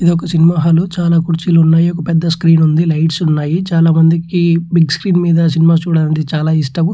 ఇది ఒక సినిమా హాళ్ల కుర్చిలున్నాయా ఒక పెద్ద స్క్రీన్ ఉంది లైట్స్ ఉన్నాయ్ చాల మందికి బిగ్ స్క్రీన్ మీద సినిమా చూడాలంటే చాలా ఇష్టం.